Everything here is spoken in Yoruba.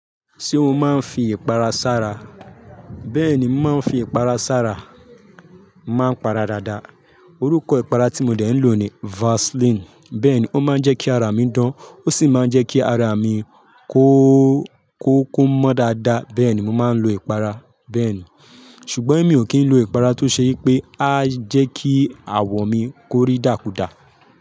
Ṣé o máa ń fi ìpara sára? Bẹ́ẹ̀ni, mo máa ń fi ìpara sára. Maa ń para dáadáa. Orúkọ ìpara tí mo dé ń lò ni Vaseline. Bẹ́ẹ̀ni, ó máa ń jẹ́ kí ará mi dán. Ó sì máa ń jẹ́ kí ará mi kó, kó mọ́ dáadáa. Bẹ́ẹ̀ni, mo máa ń lo ìpara bẹ́ẹ̀ni. Ṣùgbọ́n mi ò kí ń lo ìpara tó ṣe pé a jẹ́ kí àwọ̀ mi ko rí dákudà.